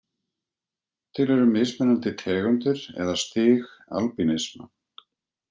Til eru mismunandi tegundir eða stig albínisma.